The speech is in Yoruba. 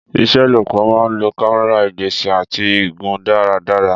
Ìṣelọ́pọ̀ máa ń lo kámẹ́rà, ìgbésẹ̀, àti igun dáradára.